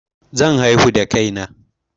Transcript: Zan haihu da kai na